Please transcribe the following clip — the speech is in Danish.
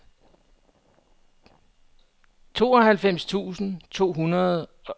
tooghalvfems tusind to hundrede og toogfyrre